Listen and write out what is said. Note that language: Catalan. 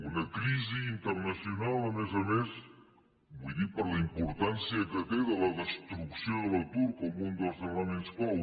una crisi internacional a més a més vull dir per la importància que té la destrucció de l’atur com un dels elements clau